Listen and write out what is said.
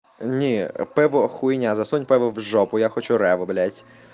не пеппа хуйня засунь в жопу я хочу рэво блять